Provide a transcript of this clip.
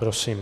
Prosím.